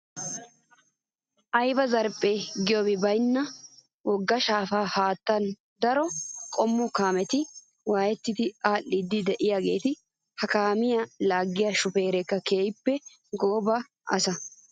Ayiba zarphphe giyoobi bayinna wogga shaapa haattaara daro qommo kaameti waayettidi aadhdhiiddi diyaageeta. Ha kaamiyaa laaggiyaa shupeereti keehippe gooba asa.